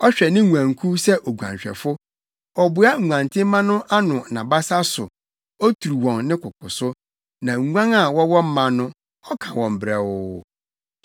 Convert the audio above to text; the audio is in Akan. Ɔhwɛ ne nguankuw sɛ oguanhwɛfo. Ɔboa nguantenmma no wɔ nʼabasa so oturu wɔn ne koko so; na nguan a wɔwɔ mma no, ɔka wɔn brɛoo.